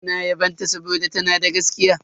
Suna yabon ta saboda tana da gaskiya.